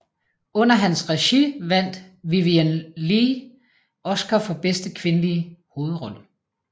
Under hans regi vandt Vivien Leigh Oscar for bedste kvindelige hovedrolle